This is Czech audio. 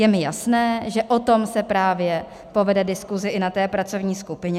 Je mi jasné, že o tom se právě povede diskuse i na té pracovní skupině.